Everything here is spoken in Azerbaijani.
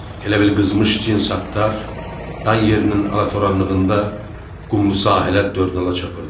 Elə bil qızmış cins atlar dan yerinin alatoranlığında qumlu sahilə dörd nala çapırdılar.